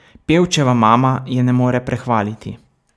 Pevčeva mama je ne more prehvaliti.